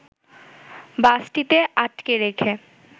বাসটিকে আটকে রেখে